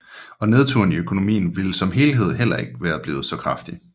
Og nedturen i økonomien som helhed ville heller ikke være blevet så kraftig